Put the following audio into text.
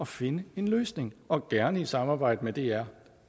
finde en løsning og gerne i samarbejde med dr